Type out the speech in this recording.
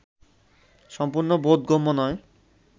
সম্পূর্ণ বোধগম্য নয়